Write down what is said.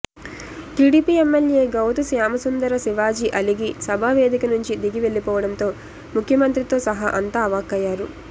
TDP MLA Gouthu Shyamasundara Shivaji అలిగి సభా వేదిక నుంచి దిగి వెళ్లిపోవడంతో ముఖ్యమంత్రితో సహా అంతా అవాక్కయ్యారు